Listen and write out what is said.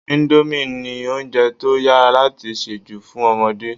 Indomie ni oúnjẹ to yára láti se jù fún ọmọdé